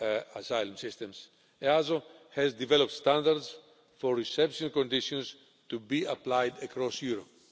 asylum systems, EASO has developed standards for reception conditions, to be applied across Europe.